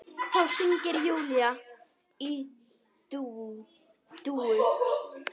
Þá hringir Júlía í Dúu.